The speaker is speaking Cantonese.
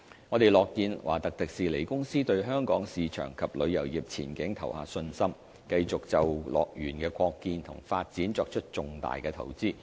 我們樂見華特迪士尼公司對香港市場及旅遊業前景投下信心，繼續就樂園的擴建和發展作出重大投資。